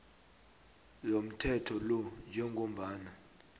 yomthetho lo njengombana